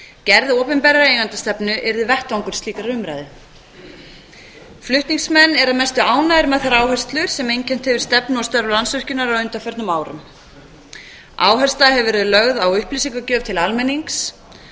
gerð opinberrar eigendastefnu yrði vettvangur slíkrar umræðu flutningsmenn eru að mestu ánægðir með þær áherslur sem einkennt hefur stefnu og störf landsvirkjunar á undanförnum árum áhersla hefur verið lögð á upplýsingagjöf til almennings